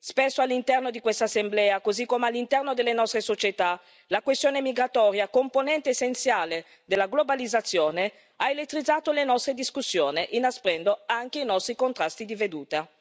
Spesso, all'interno di questa Assemblea, così come all'interno delle nostre società, la questione migratoria, componente essenziale della globalizzazione, ha elettrizzato le nostre discussioni, inasprendo anche i nostri contrasti di vedute.